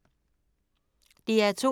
DR2